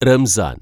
റംസാന്‍